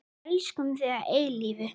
Elskum þig að eilífu.